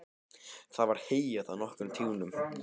Það var heyjað á nokkrum túnum.